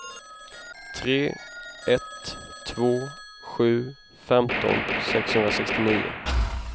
tre ett två sju femton sexhundrasextionio